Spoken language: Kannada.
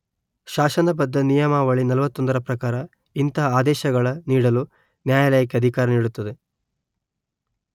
ಶಾಸನಬದ್ದ ನಿಯಮಾವಳಿ ನಲುವತ್ತೊಂದರ ಪ್ರಕಾರ ಇಂತಹ ಅದೇಶಗಳ ನೀಡಲು ನ್ಯಾಯಾಲಯಕ್ಕೆ ಅಧಿಕಾರ ನೀಡುತ್ತದೆ